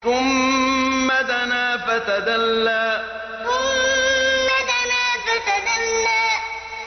ثُمَّ دَنَا فَتَدَلَّىٰ ثُمَّ دَنَا فَتَدَلَّىٰ